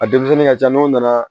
A denmisɛnnin ka ca n'o nana